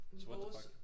Så what the fuck?